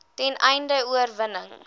ten einde oorweging